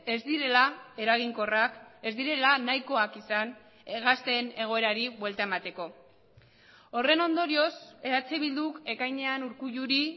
ez direla eraginkorrak ez direla nahikoak izan gazteen egoerari buelta emateko horren ondorioz eh bilduk ekainean urkulluri